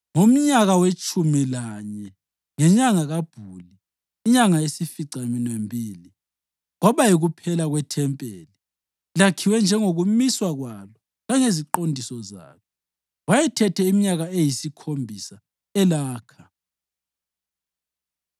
Ngomnyaka wetshumi lanye ngenyanga kaBhuli, inyanga yesificaminwembili, kwaba yikuphela kwethempeli lakhiwe njengokumiswa kwalo langeziqondiso zalo. Wayethethe iminyaka eyisikhombisa elakha.